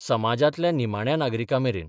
समाजांतल्या निमाण्या नागरिकां मेरेन